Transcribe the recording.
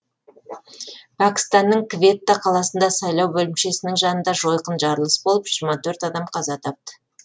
пәкістанның кветта қаласында сайлау бөлімшесінің жанында жойқын жарылыс болып жиырма төрт адам қаза тапты